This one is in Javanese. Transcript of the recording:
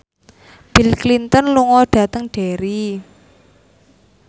Bill Clinton lunga dhateng Derry